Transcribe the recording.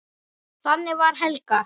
Þannig var Helga.